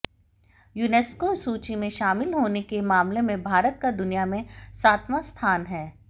UNESCO सूची में शामिल होने के मामले में भारत का दुनिया में सातवां स्थान है